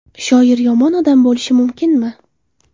Shoir yomon odam bo‘lishi mumkinmi?!